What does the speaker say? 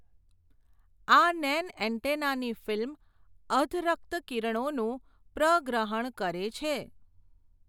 આ નેન્એન્ટેનાની ફીલ્મ અધરક્ત કિરણોનું પ્રગ્રહણ કરે છે.